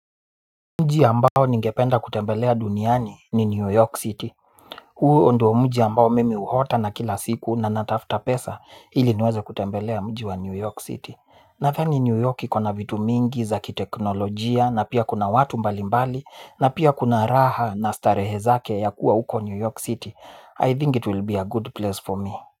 Mji ambao ningependa kutembelea duniani ni New York City. Huu ndo mji ambao mimi huota na kila siku na natafuta pesa ili niweze kutembelea mji wa New York City. Nadhani New York iko na vitu mingi za kiteknolojia na pia kuna watu mbali mbali na pia kuna raha na starehe zake ya kuwa huko New York City. I think it will be a good place for me.